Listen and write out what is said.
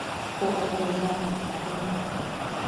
ооо запад рядом